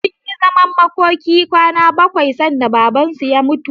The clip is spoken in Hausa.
Sunyi zaman makokin kwana bakwai sanda Babansu ya mutu.